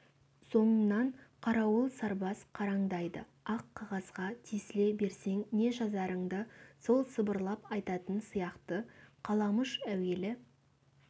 соңынан қарауыл сарбаз қараңдайды ақ қағазға тесіле берсең не жазарыңды сол сыбырлап айтатын сияқты қаламұш әуелі